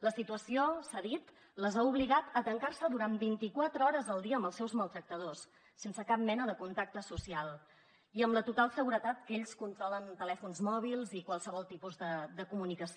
la situació s’ha dit les ha obligat a tancar se durant vint i quatre hores al dia amb els seus maltractadors sense cap mena de contacte social i amb la total seguretat que ells controlen telèfons mòbils i qualsevol tipus de comunicació